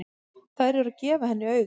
Þær eru að gefa henni auga.